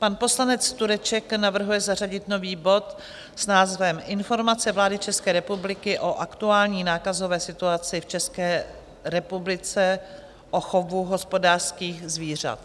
Pan poslanec Tureček navrhuje zařadit nový bod s názvem Informace vlády České republiky o aktuální nákazové situaci v České republice v chovu hospodářských zvířat.